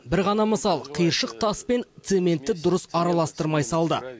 бір ғана мысал қиыршық тас пен цементті дұрыс араластырмай салды